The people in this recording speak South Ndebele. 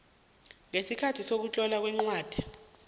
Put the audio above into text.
ngesikhathi sokutlolwa kwencwadi